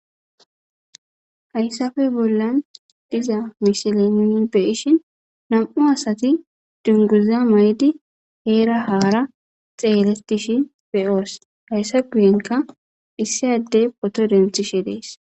hayssafe bollan diza mishile niyn beyishin nam7u asati dunguza maydi heera haara xeelestishi beyoos hayssa guyenka issi addey poto denthishe dees